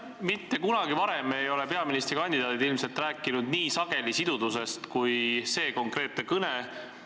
Ilmselt mitte kunagi varem ei ole peaministrikandidaadid rääkinud nii sageli sidususest kui teie oma kõnes.